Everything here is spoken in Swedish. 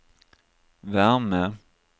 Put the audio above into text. värme